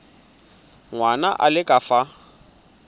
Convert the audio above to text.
ngwana a le ka fa